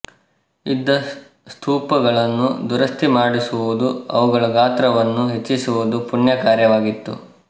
ಇದ್ದ ಸ್ತೂಪಗಳನ್ನು ದುರಸ್ತಿಮಾಡಿಸುವುದು ಅವುಗಳ ಗಾತ್ರವನ್ನು ಹೆಚ್ಚಿಸುವುದೂ ಪುಣ್ಯ ಕಾರ್ಯವಾಗಿತ್ತು